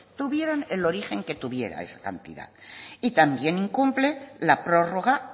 tuvieran el origen que tuviera esa cantidad y también incumple la prorroga